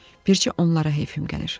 "Bircə onlara heyfim gəlir."